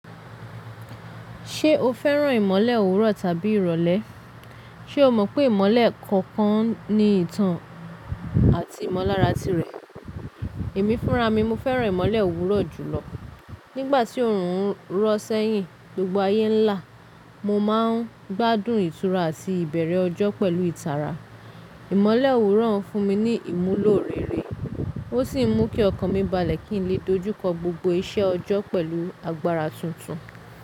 Ṣé o fẹ́ràn ìmọ̀le òwúrọ̀ tàbí ìrọ̀lẹ́? Ṣe o mọ pé ìmọ̀le kọ̀ọ̀kan ní ìtàn àti ìmọ̀lára tirẹ̀? Èmi fúnra mi, mọ fẹ́ràn ìmọ̀le òwúrọ̀ jùlọ. Nígbàtí oòrùn rọ̀ sẹ́yìn, gbogbo ayé ń lá. Mọ máa n gbádùn ìtura àti ìbẹ̀rẹ̀ ọjọ́ pẹ̀lú ìtara. Ìmọ̀le òwúrọ̀ ń fún mi ní ìmúlò rere, ó sì mú kí ọkàn mi balẹ̀ kí n lè dojúkọ gbogbo iṣẹ́ ọjọ́ pẹ̀lú agbára tuntun.